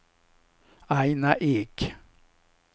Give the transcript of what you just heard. Aina Ek